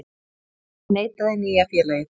Því neitaði nýja félagið